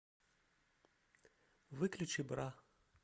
выключи бра